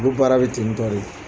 Ulu baara bɛ tentɔ de.